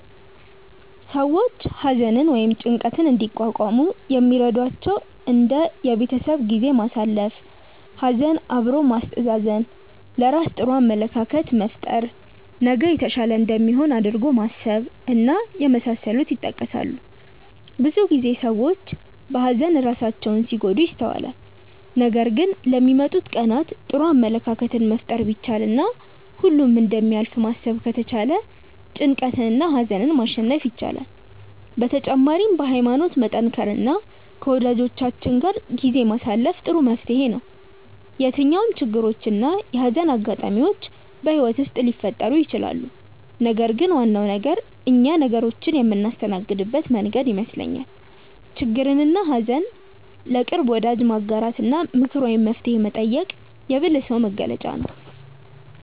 ሰዎች ሀዘንን ወይም ጭንቀትን እንዲቋቋሙ የሚረዷቸው እንደ የቤተሰብ ጊዜ ማሳለፍ፣ ሀዘን አብሮ ማስተዛዘን፣ ለራስ ጥሩ አመለካከት መፍጠር፣ ነገ የተሻለ እንደሚሆን አድርጎ ማሰብ እና የመሳሰሉት ይጠቀሳሉ። ብዙ ጊዜ ሰዎች በሀዘን ራሳቸውን ሲጎዱ ይስተዋላል ነገር ግን ለሚመጡት ቀናት ጥሩ አመለካከትን መፍጠር ቢቻል እና ሁሉም እንደሚያልፍ ማሰብ ከተቻለ ጭንቀትንና ሀዘንን ማሸነፍ ይቻላል። በተጨማሪም በሀይማኖት መጠንከር እና ከወጃጆቻችን ጋር ጊዜ ማሳለፍ ጥሩ መፍትሔ ነው። የትኛውም ችግሮች እና የሀዘን አጋጣሚዎች በህይወት ውስጥ ሊፈጠሩ ይችላሉ ነገር ግን ዋናው ነገር እኛ ነገሮችን የምናስተናግድበት መንገድ ይመስለኛል። ችግርንና ሀዘን ለቅርብ ወዳጅ ማጋራት እና ምክር ወይም መፍትሔ መጠየቅ የብልህ ሰው መገለጫ ነው።